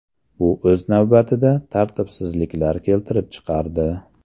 Bu, o‘z navbatida, tartibsizliklar keltirib chiqardi.